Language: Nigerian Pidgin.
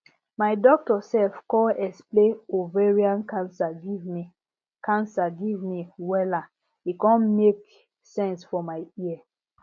my doctor sef con explain ovarian cancer give me cancer give me wella e con make sense for my ear